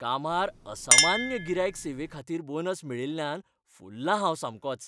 कामार असामान्य गिरायक सेवेखातीर बोनस मेळिल्ल्यान फुललां हांव सामकोच.